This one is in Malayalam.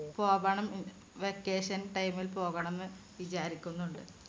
പോവണം vacation time ൽ പോകണം എന്ന് വിചാരിക്കുന്നു